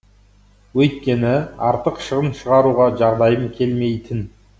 өйткені артық шығын шығаруға жағдайым келмейтін